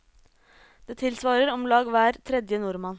Det tilsvarer om lag hver tredje nordmann.